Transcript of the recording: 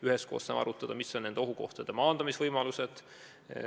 Üheskoos saame arutada, millised on nende ohtude maandamise võimalused.